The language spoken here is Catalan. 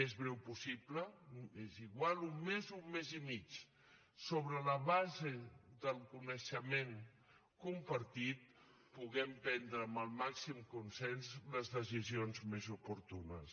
més breu possible és igual un mes o un mes i mig sobre la base del coneixement compartit puguem prendre amb el màxim consens les decisions més oportunes